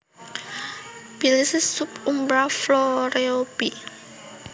Belize Sub umbra floreo b